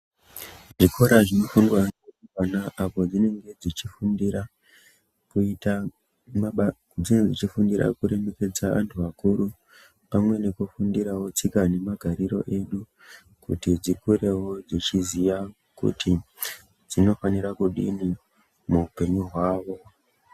Zvikora zvinofundwa neavana apo dzinenge dzichifundira kuita maba dzinenge dzichifundira kuremekedza antu akuru, pamwe nekufundirawo tsika nemagariro edu kuti dzikurewo dzichiziya kuti dzinofanira kudii muupenyu hwavo.